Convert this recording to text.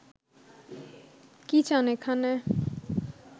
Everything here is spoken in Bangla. কী চান এখানে